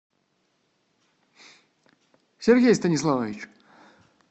сергей станиславович